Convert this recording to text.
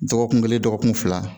Dɔgɔkun kelen dɔgɔkun fila